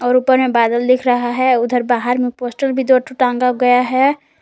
और ऊपर में बादल दिख रहा है उधर बाहर में पोस्टर भी दो ठो टांगा गया है।